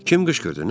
Kim qışqırdı?